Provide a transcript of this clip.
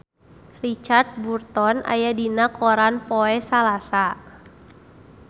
Richard Burton aya dina koran poe Salasa